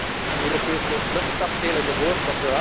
We hebben geen Europese luchtkastelen gehoord.